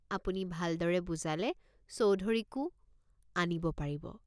আপুনি ভালদৰে বুজালে চৌধুৰীকো আনিব পাৰিব।